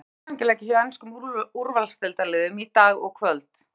Þónokkuð var um æfingaleiki hjá enskum úrvalsdeildarliðum í dag og kvöld.